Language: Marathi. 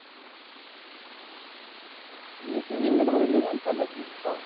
येत नाही. इंग्लंडमध्ये league